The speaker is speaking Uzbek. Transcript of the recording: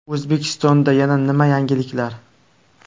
O‘zbekistonda yana nima yangiliklar?